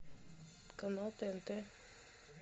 канал тнт